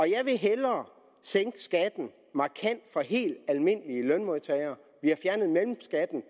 jeg vil hellere sænke skatten markant for helt almindelige lønmodtagere vi har fjernet mellemskatten